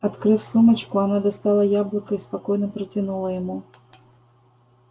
открыв сумочку она достала яблоко и спокойно протянула ему